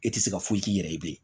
E tɛ se ka foyi k'i yɛrɛ ye